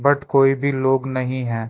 But कोई भी लोग नहीं है।